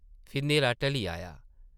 फ्ही न्हेरा ढली आया ।